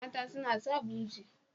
Mata suna sa buje.